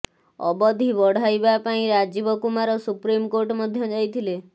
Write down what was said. ଅବଧି ବଢାଇବା ପାଇଁ ରାଜୀବ କୁମାର ସୁପ୍ରିମକୋର୍ଟ ମଧ୍ୟ ଯାଇଥିଲେ